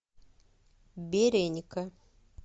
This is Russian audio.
береника